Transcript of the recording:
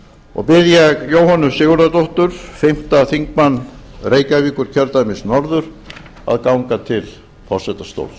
og bið ég jóhönnu sigurðardóttur fimmti þingmaður reykjavíkurkjördæmis norður að ganga til forsetastóls